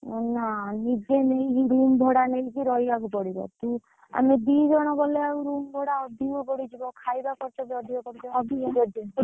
ନା ନିଜେ ନେଇକି room ଭଡା ନେଇକି ରହିବାକୁ ପଡିବ, ତୁ ଆମେ ଦି ଜଣ ଗଲେ ଆଉ room ଭଡା ଅଧିକ ପଡିଯିବ ଖାଇବା ଖରଚ ବଢିଯିବ।